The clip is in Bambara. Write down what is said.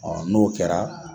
Ɔ n'o kɛra